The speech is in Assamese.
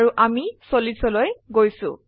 আৰু আমি 40 লৈ গৈছো